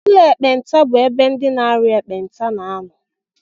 Ụlọ ekpenta bụ ebe ndị na-arịa ekpenta na-anọ